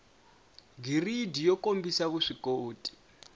b giridi yo kombisa vuswikoti